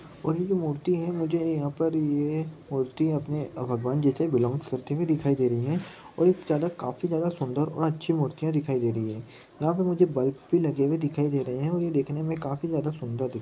और ये जो मूर्ति है मुझे यहां पर ये मूर्ति अपने भगवान जी से बिलॉन्ग करते हुए दिखाई दे रही हैं और ये ज्यादा काफी ज्यादा सुंदर और अच्छी मूर्तियां दिखाई दे रही रही हैं यहाँ पर मुझे बल्ब भी लगे दिखाई दे रहे हैं और ये देखने में काफी ज़्यादा सुन्दर दिख --